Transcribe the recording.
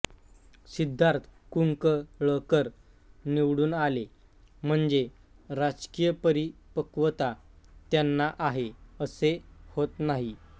सिद्धार्थ कुंकळकर निवडून आले म्हणजे राजकीय परिपक्वता त्यांना आहे असे होत नाही